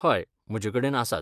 हय, म्हजे कडेन आसात.